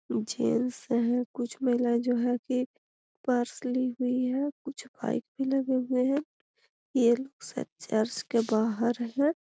Gents हैं कुछ महिलाएँ जो हैं की पर्स ली हुई हैं कुछ बाइक भी लगे हुए हैं। ये लोग शायद चर्च के बाहर हैं।